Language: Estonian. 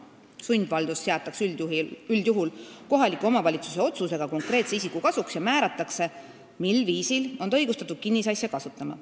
Sundvaldus seatakse üldjuhul kohaliku omavalitsuse otsusega konkreetse isiku kasuks ja määratakse, mil viisil on ta õigustatud kinnisasja kasutama.